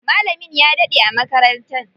Malamin ya daɗe a makarantar.